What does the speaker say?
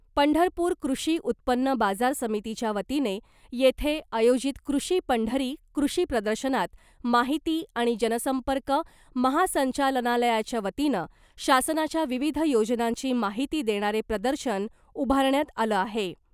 पंढरपूर कृषी उत्पन्न बाजार समितीच्या वतीने येथे आयोजित ' कृषी पंढरी ' कृषी प्रदर्शनात माहिती आणि जनसंपर्क महासंचालनालयाच्या वतीनं शासनाच्या विविध योजनांची माहिती देणारे प्रदर्शन उभारण्यात आलं आहे .